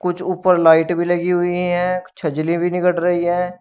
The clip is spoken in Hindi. कुछ ऊपर लाइट भी लगी हुई है भी निकट रही है।